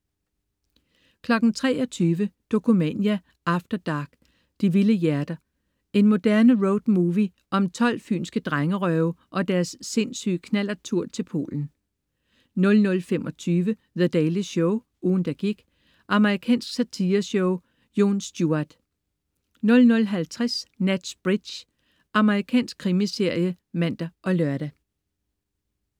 23.00 Dokumania after dark: De vilde hjerter. En moderne roadmovie om 12 fynske drengerøve og deres sindssyge knallerttur til Polen 00.25 The Daily Show, ugen, der gik. Amerikansk satireshow. Jon Stewart 00.50 Nash Bridges. Amerikansk krimiserie (man og lør)